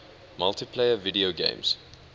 multiplayer video games